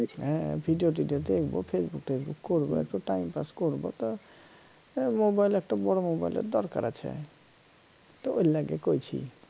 হ্যা video টিডিও দেখবো facebook টেসবুক করবো একটু time পাস করব তা এর mobile একটা বড় mobile এর দরকার আছে তো এইলাগে কইছি